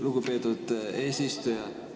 Lugupeetud eesistuja!